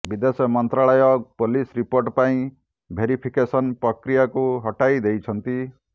ବିଦେଶ ମନ୍ତ୍ରାଳୟ police report ପାଇଁ ଭେରିଫିକେଶନ ପ୍ରକ୍ରିୟାକୁ ହଟାଇ ଦେଇଛନ୍ତି